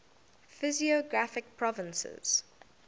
physiographic provinces